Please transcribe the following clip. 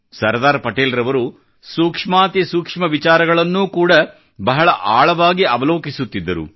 ಸರ್ದಾರ್ ಪಟೇಲ್ ರವರು ಸೂಕ್ಷ್ಮಾತಿ ಸೂಕ್ಷ್ಮ ವಿಚಾರಗಳನ್ನೂ ಕೂಡಾ ಬಹಳ ಆಳವಾಗಿ ಅವಲೋಕಿಸುತ್ತಿದ್ದರು